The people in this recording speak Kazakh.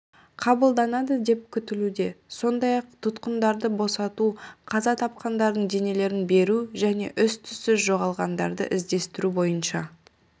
қабылданады деп күтілуде сондай-ақ тұтқындарды босату қаза тапқандардың денелерін беру және із-түзсіз жоғалғандарды іздестіру бойынша